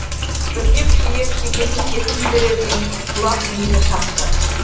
бірде күшейіп шекесін тесіп жіберердей сұққылап миын шақты